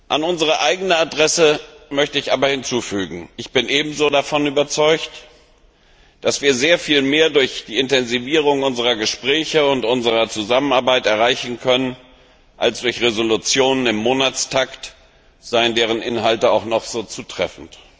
An unsere eigene Adresse möchte ich aber hinzufügen Ich bin ebenso davon überzeugt, dass wir sehr viel mehr durch die Intensivierung unserer Gespräche und unserer Zusammenarbeit erreichen können, als durch Entschließungen im Monatstakt, seien deren Inhalte auch noch so zutreffend.